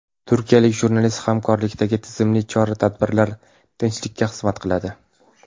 Turkiyalik jurnalist: Hamkorlikdagi tizimli chora-tadbirlar tinchlikka xizmat qiladi.